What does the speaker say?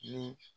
Ni